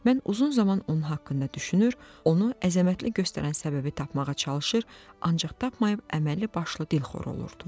Mən uzun zaman onun haqqında düşünür, onu əzəmətli göstərən səbəbi tapmağa çalışır, ancaq tapmayıb əməlli başlı dilxor olurdum.